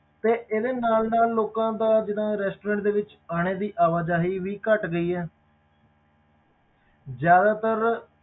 ਤੇ ਇਹਦੇ ਨਾਲ ਨਾਲ ਲੋਕਾਂ ਦਾ ਜਿਹੜਾ restaurant ਦੇ ਵਿੱਚ ਆਉਣੇ ਦੀ ਆਵਾਜਾਈ ਵੀ ਘੱਟ ਗਈ ਹੈ ਜ਼ਿਆਦਾਤਰ